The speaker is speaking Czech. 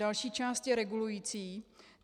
Další část je regulující.